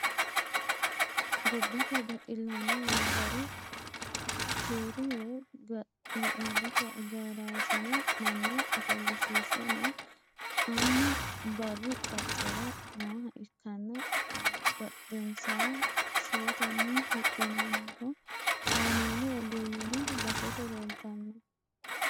Gobbate baxillaano wonbare keeru woyi ga'labbote agaraasine manna ofoshshiishshe no.annu baaru qacera nooha ikkanna badhiidonsa shiwotenni huxxinoonniho. Kaameelu ogeeyyeno basete leeltanno.